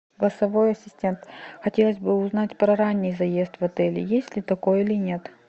голосовой ассистент хотелось бы узнать про ранний заезд в отеле есть ли такой или нет